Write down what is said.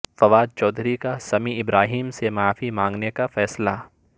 فواد چودھری کا سمیع ابراہیم سے معافی مانگنے کا فیصلہ